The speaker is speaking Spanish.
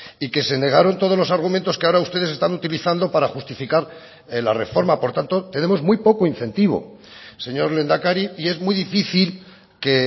y que se negaron todos los argumentos que ahora ustedes están utilizando para justificar la reforma por tanto tenemos muy poco incentivo señor lehendakari y es muy difícil que